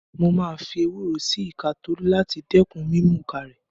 Mo máa fi ewúro sí ìka Tolú láti dẹ́kun mímùka rẹ̀.